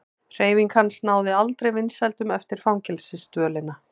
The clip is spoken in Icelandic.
Hreyfing hans náði aldrei vinsældum eftir fangelsisdvölina.